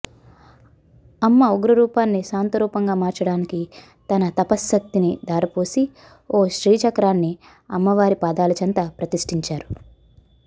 అమ్మ ఉగ్ర రూపాన్ని శాంత రూపంగా మార్చటానికి తన తపశ్శక్తిని ధారపోసి ఒక శ్రీచక్రాన్ని అమ్మవారి పాదాలచెంత ప్రతిష్టించారు